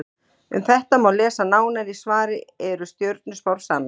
Um þetta má lesa nánar í svari Eru stjörnuspár sannar?